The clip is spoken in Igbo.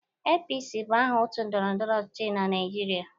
APC bụ aha otu ndọrọndọrọ ọchịchị na Naijiria.